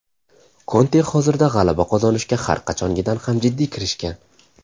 Konte hozirda g‘alaba qozonishga har qachongidan ham jiddiy kirishgan.